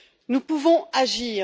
Nous pouvons agir.